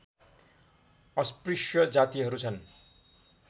अस्पृश्य जातिहरू छन्